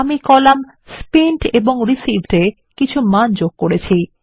আমি column spent এবং Received এ কিছু মান যোগ করেছি